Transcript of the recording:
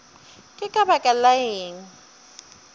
ke ka baka la eng